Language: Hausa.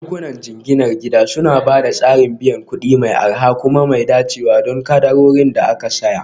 Bankunan jinginar gida suna ba da tsarin biyan kuɗi mai arha kuma mai dacewa don kadarorin da aka saya